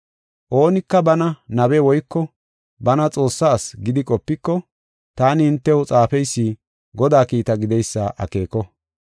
Oonika bana nabe woyko bana Xoossaa asi gidi qopiko, taani hintew xaafeysi Godaa kiitta gideysa akeeko.